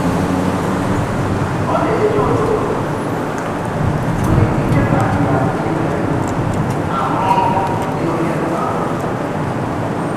Ọ na-eji ụtụtụ mgbe ike ka dị ya n'ime arụ ọrụ dị oke mkpa